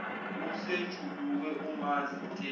usejuluke umanzi nte